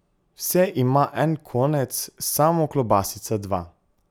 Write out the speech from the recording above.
Vse ima en konec, samo klobasica dva ...